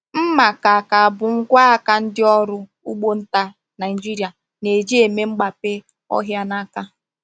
Mma ka ka bụ ngwa aka ndị ọrụ ugbo nta Naijiria na-eji eme mgbape ọhịa n’aka.